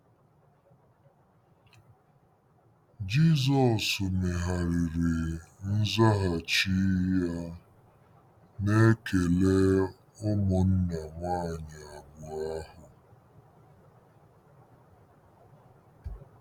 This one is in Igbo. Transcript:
Jizọs megharịrị nzaghachi ya n'ekele ụmụnna nwanyị abụọ ahụ.